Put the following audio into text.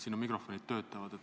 Siin mikrofonid töötavad.